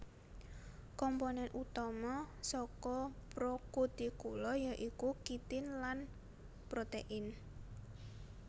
Komponen utama saka prokutikula yaiku kitin lan protein